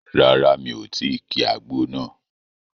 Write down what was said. Rárá, mi ò tí ki àgbo náà